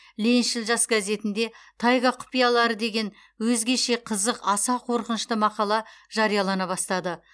лениншіл жас газетінде тайга құпиялары деген өзгеше қызық аса қорқынышты мақала жариялана бастады